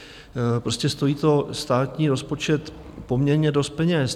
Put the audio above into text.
Prostě stojí to státní rozpočet poměrně dost peněz.